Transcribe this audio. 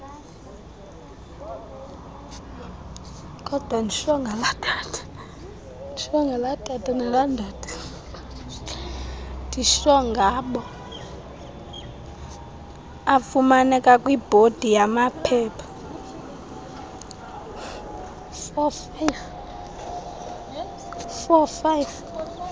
afumaneka kwibhodi yamaphepha